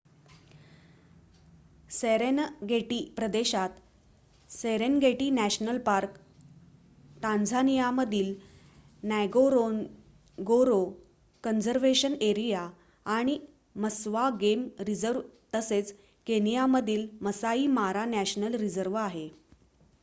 Serengeti प्रदेशात Serengeti National Park टांझानियामधील Ngorongoro Conservation Area आणि मस्वा गेम रिझर्व तसेच केनियामधील मसाई मारा नॅशनल रिझर्व आहे